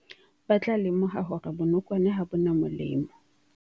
Ba tla lemoha hore bonokwane ha bo na molemo.